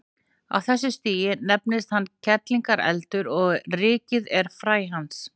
Á þessu stigi nefnist hann kerlingareldur og rykið er fræ hans.